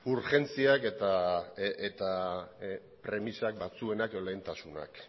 urgentziak eta premisak batzuenak edo lehentasunak